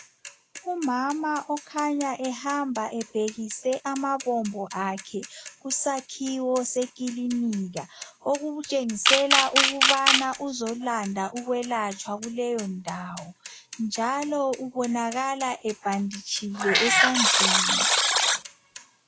Umama okhanya ehamba ebhekise amabombo akhe kusakhiwo sekilinika okutshengisela ukubana uzolanda ukwelatshwa kuleyo ndawo njalo ubonakala ebhanditshile esandleni.